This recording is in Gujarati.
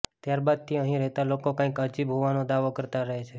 ત્યારબાદથી અહીં રહેતા લોકો કંઈક અજીબ હોવાનો દાવો કરતા રહે છે